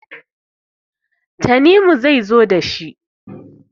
tanimu ne ya zo da shi